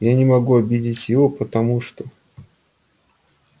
я не могу обидеть его потому что